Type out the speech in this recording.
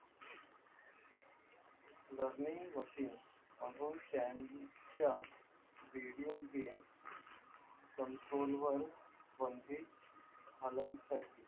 learning machine chan च्या video game control वर